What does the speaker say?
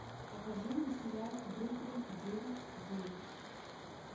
покажи мне сериал бруклин девять девять